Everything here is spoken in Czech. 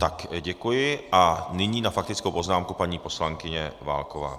Tak, děkuji, a nyní na faktickou poznámku paní poslankyně Válková.